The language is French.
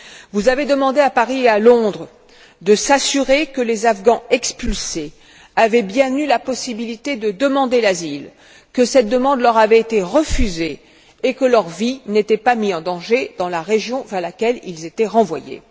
Vous avez demandé à Paris et à Londres de s'assurer que les Afghans expulsés avaient bien eu la possibilité de demander l'asile, que cette demande leur avait été refusée et que leur vie n'était pas mise en danger dans la région vers laquelle ils étaient renvoyés.